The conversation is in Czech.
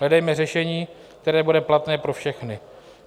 Hledejme řešení, které bude platné pro všechny.